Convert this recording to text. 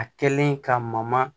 A kɛlen ka maman